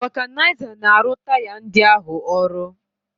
Vulcanizer na-arụ taya ndị ahụ ọrụ